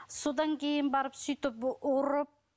содан кейін барып сөйтіп ұрып